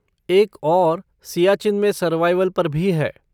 एक और सियाचिन में सर्वाइवल पर भी है।